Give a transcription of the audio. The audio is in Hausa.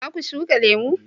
za ku shuka lemo?